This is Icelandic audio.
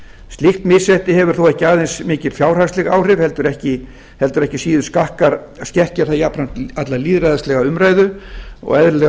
slíkt misrétti hefur þó ekki aðeins mikil fjárhagsleg áhrif heldur ekki síður skekkir það jafnframt alla lýðræðislega umræðu og eðlilega